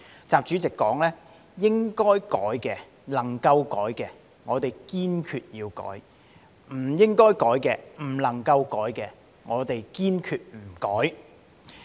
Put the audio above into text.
習主席說道："該改的、能改的我們堅決改，不該改的、不能改的堅決不改。